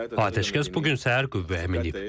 Atəşkəs bu gün səhər qüvvəyə minib.